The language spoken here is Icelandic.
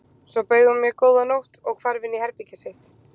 Svo bauð hún mér góða nótt og hvarf inn í herbergið sitt.